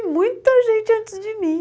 E muita gente antes de mim.